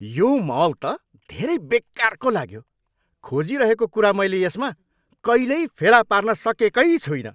यो मल त एउटा धेरै बेकारको लाग्यो। खोजिरहेको कुरा मैले यसमा कहिल्यै फेला पार्न सकेकै छुइनँ।